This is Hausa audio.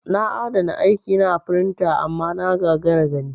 Na adana aiki na a pintres amma na gagara gani.